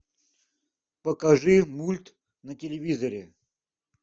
покажи мульт на телевизоре